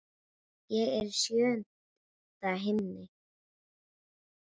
Ég er í sjöunda himni.